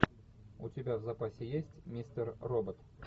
у тебя в запасе есть мистер робот